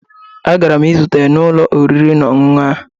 Agara m izute ya n'ụlọ oriri na ọṅụṅụ ahụ